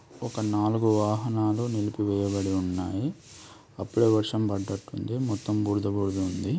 ఒక నాలుగు వాహనాలు నిలిపివేయబడి ఉన్నాయి అప్పుడే వర్షం పడ్డట్టు ఉంది మొత్తమ్ బురద బురదగా ఉంది.